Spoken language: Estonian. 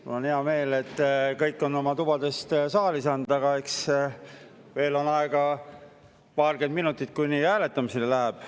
Mul on hea meel, et kõik on oma tubadest saali jõudnud, aga eks veel on aega paarkümmend minutit, kuni hääletamiseks läheb.